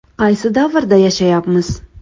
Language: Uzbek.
Qaysi davrda yashayapmiz?